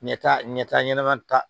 Ɲɛta ɲɛta ɲɛnɛma ta